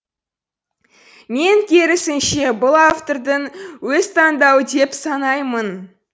мен керісінше бұл автордың өз таңдауы деп санаймын